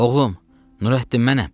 Oğlum, Nurəddin mənəm.